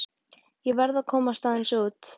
Ég verð að komast aðeins út.